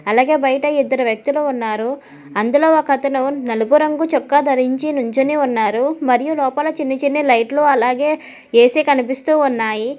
అలాగే బయట ఇద్దరు వ్యక్తులు ఉన్నారు అందులో ఒక అతను నలుపు రంగు చొక్కా ధరించి నుంచునే ఉన్నారు మరియు లోపల చిన్న చిన్న లైట్లు అలాగే యేసే కనిపిస్తూ ఉన్నాయి.